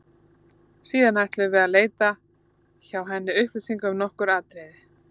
Síðan ætluðum við að leita hjá henni upplýsinga um nokkur atriði.